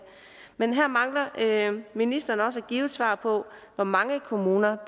men her mangler ministeren også at give et svar på hvor mange kommuner